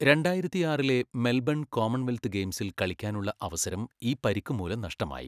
രണ്ടായിരത്തിആറിലെ Melbourne Commonwealth ഗെയിംസിൽ കളിക്കാനുള്ള അവസരം ഈ പരിക്കുമൂലം നഷ്ടമായി.